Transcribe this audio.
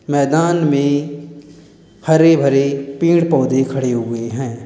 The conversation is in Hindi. मैदान में हरे भरे पेड़ पौधे खड़े हुए हैं।